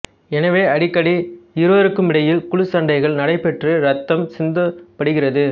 எனவே அடிக்கடி இருவருக்குமிடையில் குழுச் சண்டைகள் நடைபெற்று ரத்தம் சிந்தப்படுகிறது